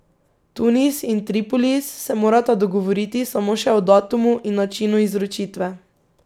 Tunis in Tripolis se morata dogovoriti samo še o datumu in načinu izročitve.